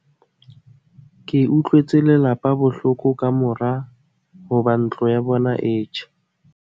ke utlwetse lelapa bohloko ka mora hoba ntlo ya bona e tjhe